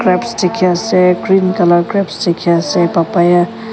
grapes dikhi ase green colour grapes dikhi ase papaya --